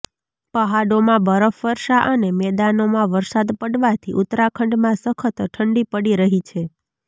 પહાડોમાં બરફવર્ષા અને મેદાનોમાં વરસાદ પડવાથી ઉત્તરાખંડમાં સખત ઠંડી પડી રહી છે